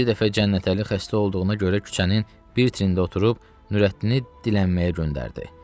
Bir dəfə Cənnətəli xəstə olduğuna görə küçənin bir tərində oturub Nurəddini dilənməyə göndərdi.